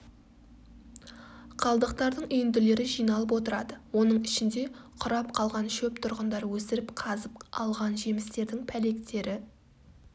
қалдықтардың үйінділері жиналып отырады оның ішінде құрап қалған шөп тұрғындар өсіріп қазып алған жемістердің пәлектері